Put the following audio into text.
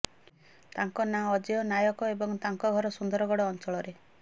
ତାଙ୍କ ନାଁ ଅଜୟ ନାୟକ ଏବଂ ତାଙ୍କ ଘର ସୁନ୍ଦରଗଡ଼ ଅଞ୍ଚଳରେ